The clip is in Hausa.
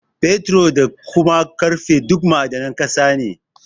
Fetur, da kuma ƙarfe duk ma'adanan ƙasa ne.